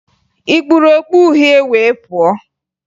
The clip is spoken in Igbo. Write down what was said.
Ị kpuru okpu uhie wee pụọ?